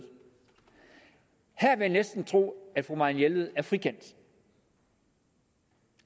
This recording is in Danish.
her vil jeg næsten tro at fru marianne jelved er frikendt